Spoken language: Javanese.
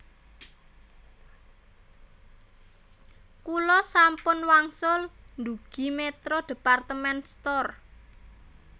Kula sampun wangsul ndugi Metro department store